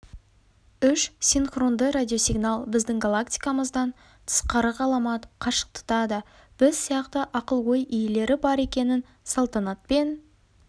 үш синхронды радиосигнал біздің галактикамыздан тысқары ғаламат қашықтықта да біз сияқты ақыл-ой иелері бар екенін салтанатпен